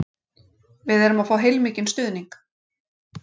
Við erum að fá heilmikinn stuðning